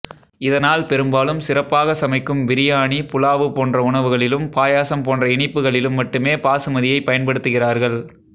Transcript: இதனால் பெரும்பாலும் சிறப்பாகச் சமைக்கும் பிரியாணி புலாவு போன்ற உணவுகளிலும் பாயசம் போன்ற இனிப்புக்களிலும் மட்டுமே பாசுமதியைப் பயன்படுத்துகிறார்கள்